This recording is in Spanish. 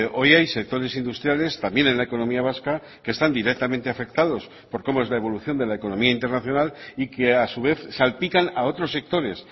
hoy hay sectores industriales también en la economía vasca que están directamente afectados por cómo es la evolución de la economía internacional y que a su vez salpican a otros sectores